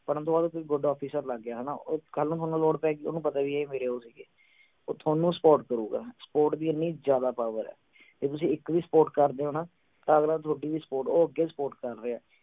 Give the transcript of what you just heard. ਪੜ੍ਹਨ ਤੋਂ ਬਾਅਦ ਕੋਈ good officer ਲੱਗ ਗਿਆ ਹਣਾ ਕੱਲ ਨੂੰ ਥੋਨੂੰ ਲੋੜ ਪੈ ਗਈ ਓਹਨੂੰ ਪਤਾ ਹੈ ਵੀ ਇਹ ਮੇਰੇ ਉਹ ਸੀ ਗੇ ਉਹ ਥੋਨੂੰ support ਕਰੂਗਾ support ਦੀ ਇੰਨੀ ਜਿਆਦਾ power ਹੈ। ਜੇ ਤੁਸੀਂ ਇਕ ਦੀ support ਕਰਦੇ ਹੋ ਨਾ ਤਾ ਅਗਲਾ ਥੋਡੀ ਵੀ support ਉਹ ਅੱਗੇ support ਕਰ ਰਿਹਾ ਹੈ।